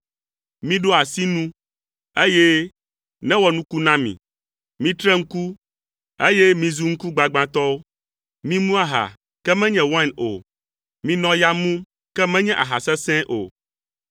Miɖo asi nu, eye newɔ nuku na mi. Mitre ŋku, eye mizu ŋkugbagbãtɔwo. Mimu aha, ke menye wain o, minɔ ya mum, ke menye aha sesẽe o.